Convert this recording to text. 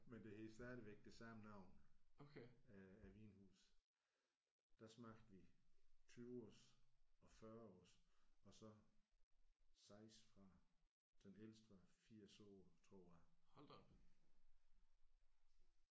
Men det hedder stadigvæk det samme navn af af vinhus. Der smagte vi 20 års og 40 års og så 6 fra den ældste var 80 år tror jeg